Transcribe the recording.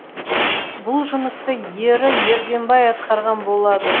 бұл жұмысты ері ерденбай атқарған болды